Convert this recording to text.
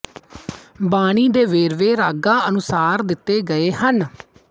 ਬਾਣੀ ਦੇ ਵੇਰਵੇ ਰਾਗਾਂ ਦੇ ਅਨੁਸਾਰ ਦਿੱਤੇ ਗਏ ਹਨ